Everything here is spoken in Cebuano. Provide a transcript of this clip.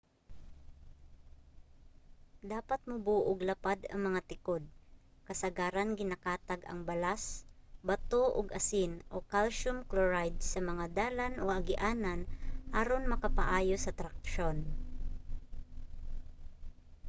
dapat mubo ug lapad ang mga tikod. kasagaran ginakatag ang balas bato ug asin calcium chloride sa mga dalan o agianan aron makapaayo sa traksyon